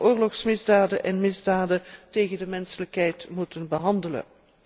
oorlogsmisdaden en misdaden tegen de menselijkheid moeten behandelen.